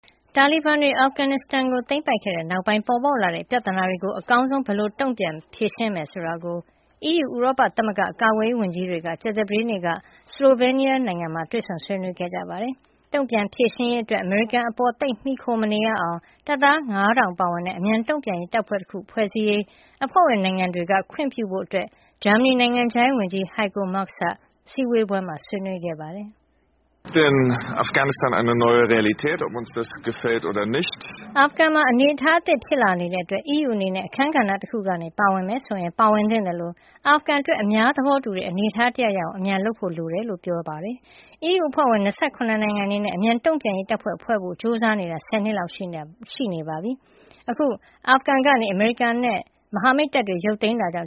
တာလီဘန်တွေ အာဖဂန်နစ်စတန်ကို သိမ်းပိုက်ခဲ့တဲ့နောက်ပိုင်း ပေါ်ပေါက်လာတဲ့ ပြဿနာတွေကို အကောင်းဆုံး ဘယ်လိုတုန့်ပြန်ဖြေရှင်းကြမယ် ဆိုတာကို အီးယူ ဥရောပသမဂ္ဂ ကာကွယ်ရေးဝန်ကြီးတွေ ကြာသပတေးနေ့က Slovenia မှာတွေ့ဆုံဆွေးနွေးခဲ့ကြပါတယ်။ တုန့်ပြန်ဖြေရှင်းရေး အတွက် အမေရိကန်ပေါ်သိပ်မှီခို မနေရအောင် တပ်သား ၅၀၀၀ ပါဝင်တဲ့ အမြန်တုန့်ပြန်ရေးတပ်ဖွဲ့တခု ဖွဲ့စည်းရေး အဖွဲဝင်နိုင်ငံတွေက ခွင့်ပြုဖို့ ဂျာမဏီနိုင်ငံခြားရေးဝန်ကြီး Heiko Maas က အစည်းအဝေးမှာ ဆွေးနွေးခဲ့ပါတယ်။ "အာဖဂန်မှာ အနေထားအသစ်ဖြစ်လာနေတာကြောင့် အီးယူအနေနဲ့ အခန်းကဏ္ဍတခုကနေ ပါဝင်မယ်ဆိုရင် ပါဝင်သင့်သလို အာဖဂန်အတွက် အများသဘောတူတဲ့ အနေထားတရပ်ရအောင် အမြန်လုပ်ဖို့လိုပါတယ် လို့ပြောကြားခဲ့တာပါ။ အီးယူ အဖွဲ့ဝင် ၂၇ နိုင်ငံအနေနဲ့ အမြန်တုန့်ပြန်ရေးတပ်ဖွဲ့ ဖွဲ့စည်းဖို့ကြိုးစားနေတာ ဆယ်နှစ်လောက်ရှိနေပြီဖြစ်ပြီး အခု အာဖဂန်ကနေ အမေရိကန်နဲ့ မဟာမိတ်တပ်တွေ ရုတ်သိမ်းတာကြ